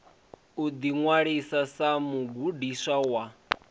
u ḓiṅwalisa sa mugudiswa wa